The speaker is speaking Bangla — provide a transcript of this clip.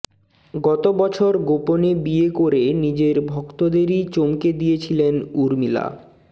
গত বছর গোপনে বিয়ে করে নিজের ভক্তদেরই চমকে দিয়েছিলেন উর্মিলা